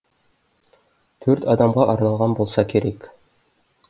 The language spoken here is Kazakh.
төрт адамға арналған болса керек